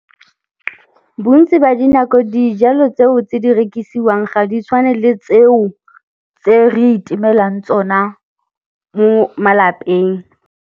Bontsi ba dinako dijalo tseo tse di rekisiwang ga di tshwane le tseo tse re itemelang tsona mo malapeng.